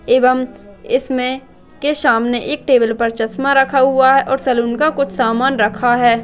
एवं इसमें के सामने एक टेबल पर चश्मा रखा हुआ है और सैलून का कुछ सामान रखा है